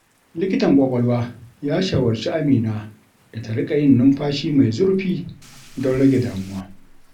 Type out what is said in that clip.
Likitan kwakwalwa ya shawarci Amina da ta riƙa yin numfashi mai zurfi don rage damuwa.